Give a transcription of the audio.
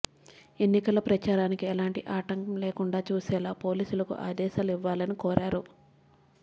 ఎన్నికల ప్రచారానికి ఎలాంటి ఆటంకం లేకుండా చూసేలా పోలీసులకు ఆదేశాలు ఇవ్వాలని కోరారు